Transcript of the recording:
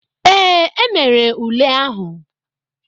Ee, e mere ule ahụ.